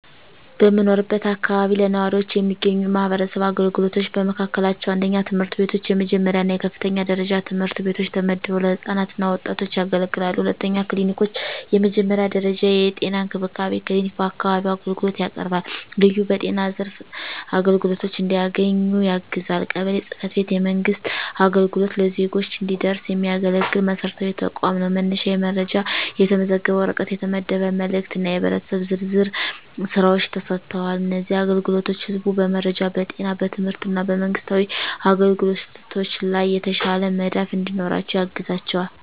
በምኖርበት አካባቢ ለነዋሪዎች የሚገኙ የማህበረሰብ አገልግሎቶች በመካከላቸው፣ 1. ትምህርት ቤቶች፣ የመጀመሪያ እና የከፍተኛ ደረጃ ትምህርት ቤቶች ተመድበው ለህፃናት እና ወጣቶች ያገለግላሉ። 2. ክሊኒኮች፣ የመጀመሪያ ደረጃ የጤና እንክብካቤ ክሊኒክ በአካባቢው አገልግሎት ያቀርባል፣ ልዩ በጤና ዘርፍ አግድዶች እንዲያገኙ ያግዛል። 3. ቀበሌ ጽ/ቤት፣ የመንግሥት አገልግሎት ለዜጎች እንዲደረስ የሚያገለግል መሰረታዊ ተቋም ነው፤ መነሻ የመረጃ፣ የተመዘገበ ወረቀት፣ የተመደበ መልእክት እና የህብረተሰብ ዝርዝር ሥራዎች ተሰጥተዋል። እነዚህ አገልግሎቶች ህዝቡ በመረጃ፣ በጤና፣ በትምህርት እና በመንግስታዊ አግኝቶች ላይ የተሻለ መዳፍ እንዲኖራቸው ያግዛቸዋል።